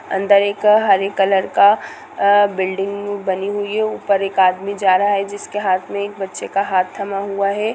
अंदर एक हरे कलर का बिल्डिंग बनी हुई है ऊपर एक आदमी जा रहा है जिसके हाथ में एक बच्चे का हाथ थमा हुआ है।